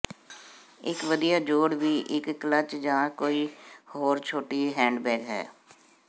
ਇੱਕ ਵਧੀਆ ਜੋੜ ਵੀ ਇੱਕ ਕਲਚ ਜਾਂ ਕੋਈ ਹੋਰ ਛੋਟੀ ਹੈਂਡਬੈਗ ਹੈ